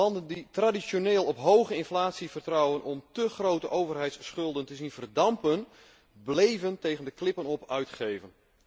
Landen die traditioneel op hoge inflatie vertrouwen om te grote overheidsschulden te zien verdampen, bleven tegen de klippen op uitgeven.